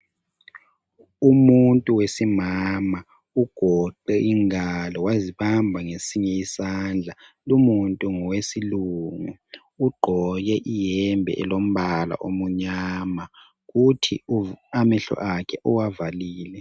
Umuntu wesimama ugoqe ingalo wazobamba ngesinye isandla. Lumuntu ngowesilungu, ugqoke iyembe elombala omunyama futhi amehlo akhe uwavalile.